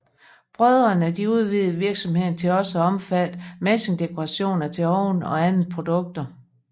Brødrene udvidede virksomheden til også at omfatte messingdekorationer til ovne og andre produkter